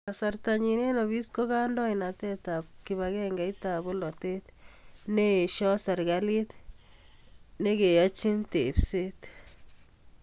Kasartanyi eng ofis ko kandoindetab kibagengeitab polatet ne eesoi serikali ne keyochini tepseet.